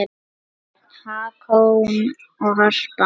Börn: Hákon og Harpa.